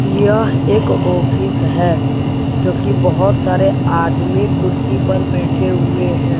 यह एक ऑफिस है जो की बहुत सारे आदमी कुर्सी पर बैठे हुए हैं।